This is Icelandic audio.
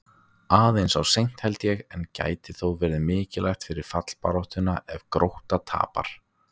Aðeins of seint, held ég, en gæti þó verið mikilvægt fyrir fallbaráttuna ef Grótta tapar!